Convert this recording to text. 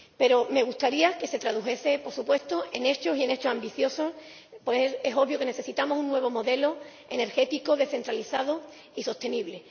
Pero me gustaría que se tradujese en hechos, y en hechos ambiciosos, pues es obvio que necesitamos un nuevo modelo energético, descentralizado y sostenible.